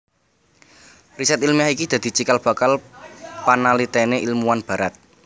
Riset ilmiah iki dadi cikal bakal panalitene ilmuwan Barat